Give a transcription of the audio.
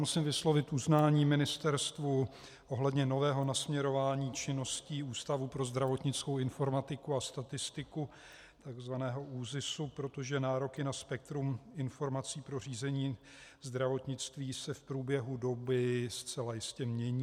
Musím vyslovit uznání ministerstvu ohledně nového nasměrování činností Ústavu pro zdravotnickou informatiku a statistiku, tzv. ÚZISu, protože nároky na spektrum informací pro řízení zdravotnictví se v průběhu doby zcela jistě mění.